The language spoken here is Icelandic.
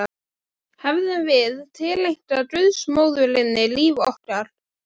Hefðum við tileinkað guðsmóðurinni líf okkar?